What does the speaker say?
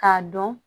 K'a dɔn